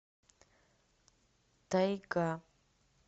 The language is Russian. тайга